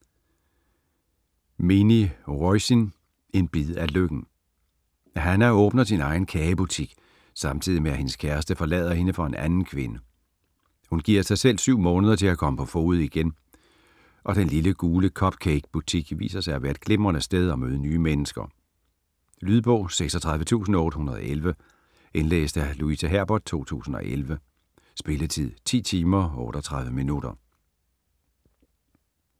Meaney, Roisin: En bid af lykken Hannah åbner sin egen kagebutik samtidig med at hendes kæreste forlader hende for en anden kvinde. Hun giver sig selv 7 måneder til at komme på fode igen, og den lille, gule cup cake butik viser sig at være et glimrende sted at møde nye mennesker. Lydbog 36811 Indlæst af Louise Herbert, 2011. Spilletid: 10 timer, 38 minutter.